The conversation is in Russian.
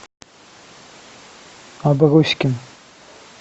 аброськин